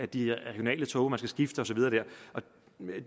de regionale tog og skal skifte og så videre det